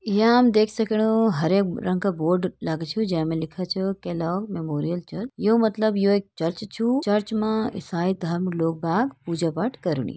यहाँ हम देख सकणो हरे रंग का बोर्ड लग छु जै मा लिखा छु मेमोरियल चर्च यू मतलब यू एक चर्च छु चर्च मा ईसाई धर्म लोग लाग पूजा पाठ करुणि।